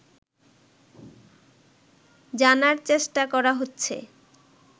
জানার চেষ্টা করা হচ্ছে